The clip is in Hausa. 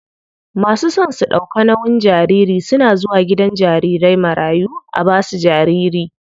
Masu son su ɗauka nauyin jariri suna zuwa gidan jarirai marayu a basu jariri.